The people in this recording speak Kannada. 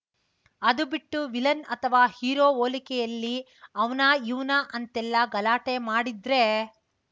ಅದು ಬಿಟ್ಟು ವಿಲನ್‌ ಅಥವಾ ಹೀರೋ ಹೋಲಿಕೆಯಲ್ಲಿ ಅವ್ನಾ ಇವ್ನಾ ಅಂತೆಲ್ಲ ಗಲಾಟೆ ಮಾಡಿದ್ರೆ